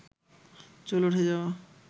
চুল উঠে যাওয়া